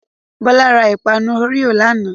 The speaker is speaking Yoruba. Bọla ra ìpanu Oreo lánàá.